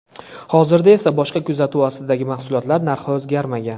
Hozirda esa boshqa kuzatuv ostidagi mahsulotlar narxi o‘zgarmagan.